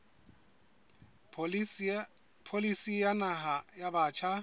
pholisi ya naha ya batjha